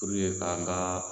kan ka